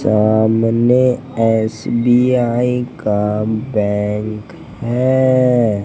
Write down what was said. सामने एस_बी_आई का बैंक है।